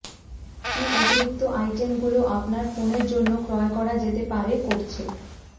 কি অতিরিক্ত আইটেমগুলি আপনার ফোনের জন্য ক্রয় করা যেতে পারে করছে